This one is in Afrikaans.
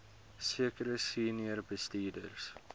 sekere senior bestuurders